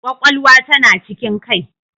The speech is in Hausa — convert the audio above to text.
Kwakwalwa tana cikin Kai